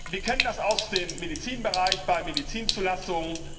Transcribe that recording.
Wir kennen das aus dem Medizinbereich, bei Medizinzulassungen.